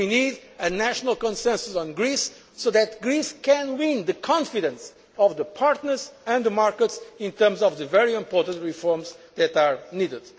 politics. We need a national consensus in Greece so that Greece can win the confidence of the partners and the markets in terms of the very important reforms that